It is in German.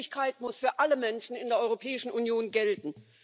Freizügigkeit muss für alle Menschen in der Europäischen Union gelten.